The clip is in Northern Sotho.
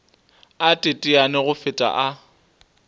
a teteane go feta a